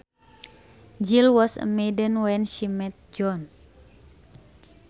Jill was a maiden when she met John